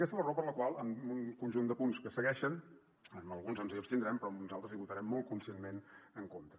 i aquesta és la raó per la qual en un conjunt de punts que segueixen en alguns ens hi abstindrem però en uns altres hi votarem molt conscientment en contra